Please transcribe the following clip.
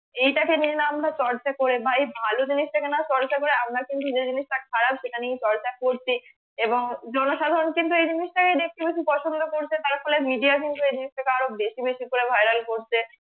এইটা তে কিন্তু আমরা চর্চা করে বা এই ভালো জিনিসটা কে না চর্চা করে আমরা কিন্তু যে জিনিসটা খারাপ সেটা নিয়ে চর্চা করতে এবং জনসাধারণ কিন্তু এই জিনিসটাকেই দেখতে বেশি পছন্দ করছে তারফলে media কিন্তু এই জিনিসটা কে আরো বেশি বেশি করে viral করছে